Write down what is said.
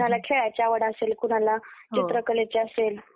कोणाला खेळायची आवड असेल. कुणाला चित्रकला ची असेल